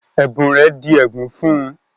Ẹ̀bùn rẹ̀ di ègún fún-un